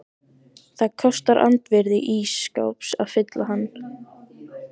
Það kostar andvirði ís skáps að fylla hann.